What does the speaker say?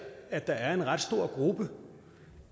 at der er en ret stor gruppe